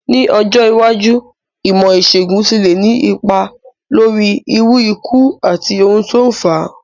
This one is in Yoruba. Ní ọjọ́ iwájú, ìmó ìsègùn ti le ni ipa lórí irú ikú àti oun to n fáa